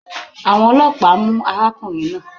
Àwọn ọlọ́pàá mu arákùnrin náà.